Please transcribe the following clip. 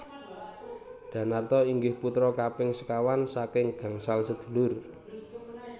Danarto inggih putra kaping sekawan saking gangsal sedulur